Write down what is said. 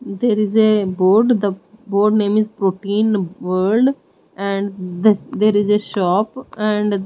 there is a board the board name is protein world and the there is a shop and--